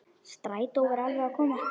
Strætó var alveg að koma.